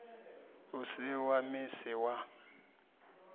u si wa misi wa